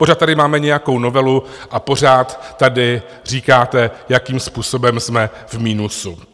Pořád tady máme nějakou novelu a pořád tady říkáte, jakým způsobem jsme v minusu.